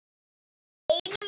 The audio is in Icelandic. Einum of